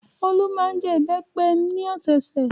Olú máa ń jẹ ìbẹ́pẹ ní ọ̀sẹ̀ẹ̀sẹ̀.